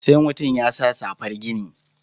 Sai mutum ya sa safar gini?